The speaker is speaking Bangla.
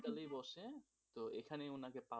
hospital এই বসে তো এখানে উনাকে পাওয়া যাবে